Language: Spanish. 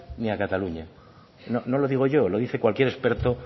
ni a cataluña no lo digo yo lo dice cualquier experto